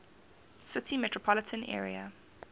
city metropolitan area